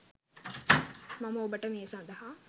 මම ඔබට මේ සඳහා